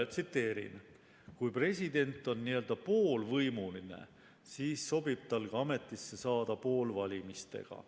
Tsiteerin: "Kui president on n-ö poolvõimuline, siis sobib tal ka ametisse saada poolvalimistega.